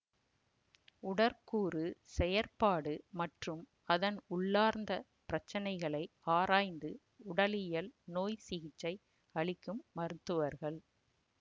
உடற்கூறு செயற்பாடு மற்றும் அதன் உள்ளார்ந்த பிரச்சனைகளை ஆராய்ந்து உடலியல் நோய் சிகிச்சை அளிக்கும் மருத்துவர்கள்